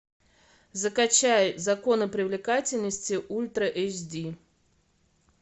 закачай законы привлекательности ультра эйч ди